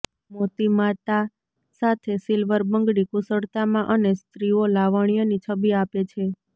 મોતી માતા સાથે સિલ્વર બંગડી કુશળતામાં અને સ્ત્રીઓ લાવણ્ય ની છબી આપે છે